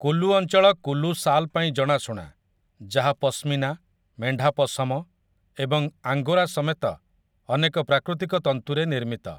କୁଲୁ ଅଞ୍ଚଳ କୁଲୁ ଶାଲ ପାଇଁ ଜଣାଶୁଣା, ଯାହା ପଶ୍ମିନା, ମେଣ୍ଢା ପଶମ ଏବଂ ଆଙ୍ଗୋରା ସମେତ ଅନେକ ପ୍ରାକୃତିକ ତନ୍ତୁରେ ନିର୍ମିତ ।